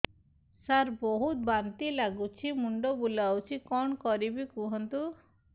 ସାର ବହୁତ ବାନ୍ତି ଲାଗୁଛି ମୁଣ୍ଡ ବୁଲୋଉଛି କଣ କରିବି କୁହନ୍ତୁ